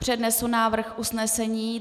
Přednesu návrh usnesení.